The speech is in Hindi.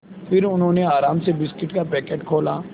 फिर उन्होंने आराम से बिस्कुट का पैकेट खोला